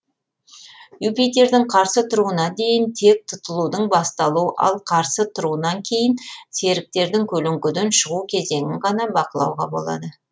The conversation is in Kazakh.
юпитердің қарсы тұруына дейін тек тұтылудың басталу ал қарсы тұруынан кейін серіктердің көлеңкеден шығу кезеңін ғана бақылауға болады